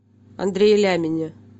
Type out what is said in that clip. андрее лямине